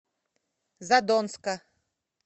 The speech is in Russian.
задонска